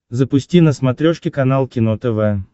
запусти на смотрешке канал кино тв